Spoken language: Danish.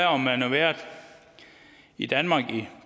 om man har været i danmark i